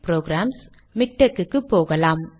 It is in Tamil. புரோகிராம்ஸ் மிக்டெக் போகலாம்